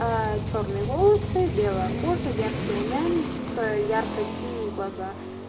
чёрные волосы белая кожа яркий румянец ярко-синие глаза